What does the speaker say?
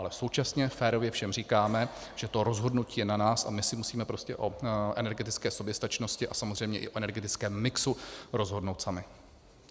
Ale současně férově všem říkáme, že to rozhodnutí je na nás, a my si musíme prostě o energetické soběstačnosti a samozřejmě i o energetickém mixu rozhodnout sami.